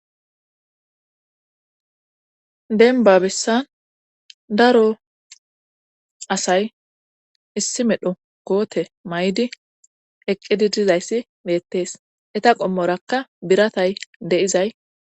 denbabessan daro asay issi medho goote may7di eqqidi dizayssi meettees eta qommorakka biratay deizay